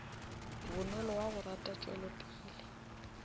bonolo wa go rata tšwelopele